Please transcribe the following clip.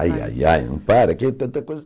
Ai, ai, ai, não para, que tanta coisa...